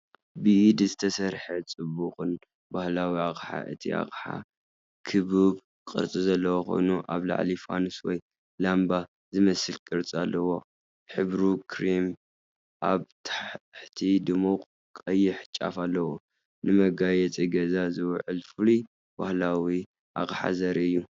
ብኢድ ዝተሰርሐ፣ ጽቡቕን ባህላውን ኣቕሓ፣ እቲ ኣቕሓ ክቡብ ቅርጺ ዘለዎ ኮይኑ፡ ኣብ ላዕሊ ፋኑስ ወይ ላምባ ዝመስል ቅርጺ ኣለዎ። ሕብሩ ክሬም ኣብ ታሕቲ ድሙቕ ቀይሕ ጫፍ ኣለዎ። ንመጋየጺ ገዛ ዝውዕል ፍሉይ ባህላዊ ኣቕሓ ዘርኢ እዩ።